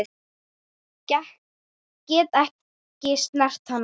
Get ekki snert hana.